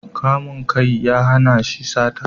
Kamun kai ya hana shi sata